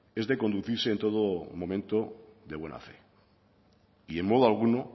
es de conducirse en todo momento de buena fe y en modo alguno